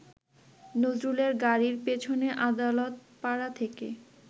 নজরুলের গাড়ির পেছনে আদালতপাড়া থেকে